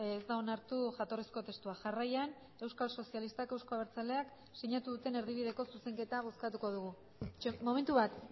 ez da onartu jatorrizko testua jarraian euskal sozialistak euzko abertzaleak sinatu duten erdibideko zuzenketa bozkatuko dugu momentu bat